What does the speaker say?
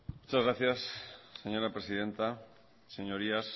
muchas gracias señora presidenta señorías